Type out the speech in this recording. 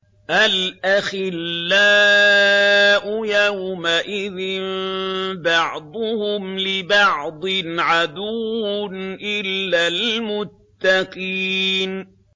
الْأَخِلَّاءُ يَوْمَئِذٍ بَعْضُهُمْ لِبَعْضٍ عَدُوٌّ إِلَّا الْمُتَّقِينَ